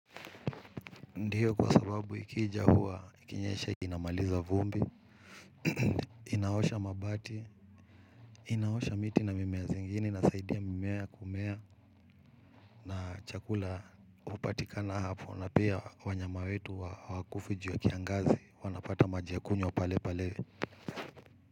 Ndiyo kwa sababu ikija huwa, ikinyesha inamaliza vumbi, inaosha mabati, inaosha miti na mimea zingine inasaidia mimea kumea na chakula upatikana hapo na pia wanyama wetu hawakufi juu ya kiangazi, wanapata maji ya kunywa pale pale.